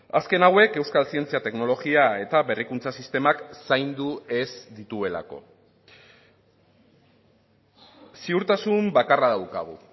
azken hauek euskal zientzia teknologia eta berrikuntza sistemak zaindu ez dituelako ziurtasun bakarra daukagu